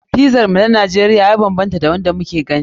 Pizar mu ta Najeriya ya banbanta da wanda muke gani.